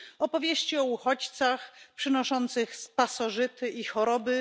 Opowieści o uchodźcach przynoszących pasożyty i choroby.